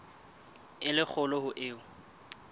e le kgolo ho eo